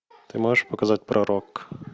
ты можешь показать пророк